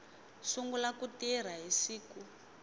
sungula ku tirha hi siku